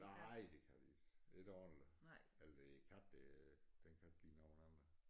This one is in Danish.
Nej det kan de ikke det dårligt eller det er æ kat der den kan ikke lide nogen andre